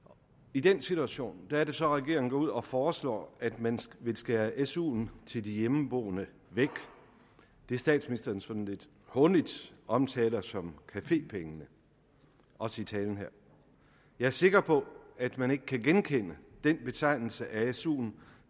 i den situation er det så at regeringen går ud og foreslår at man vil skære suen til de hjemmeboende væk det statsministeren sådan lidt hånligt omtaler som cafépengene også i talen her jeg er sikker på at man ikke kan genkende den betegnelse af suen